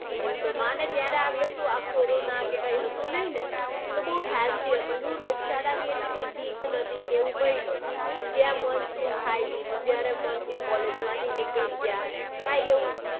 એ દિવસોમાં અને ત્યારે આ આપડે કોરોનાને એ કાંઈ હતું નાઈ ને તો બઉ શાંતિ હતી. શું રોગચાળાની ની કાંઈ બીક નતી કે એવું કાંઈ નતું. જ્યાં મન થયું ખાઈ લીધું જયારે મન થયું collage માંથી નીકળી ગયા. કાંઈ એવું